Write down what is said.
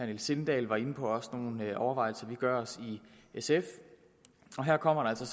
niels sindal var inde på er også nogle overvejelser vi gør os i sf og her kommer der så